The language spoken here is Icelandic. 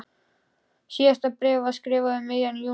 Síðasta bréfið var skrifað um miðjan júní.